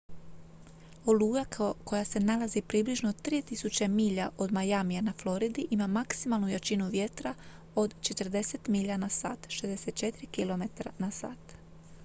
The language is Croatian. oluja koja se nalazi približno 3.000 milja od miamija na floridi ima maksimalnu jačinu vjetra od 40 milja/h 64 km/h